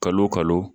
Kalo o kalo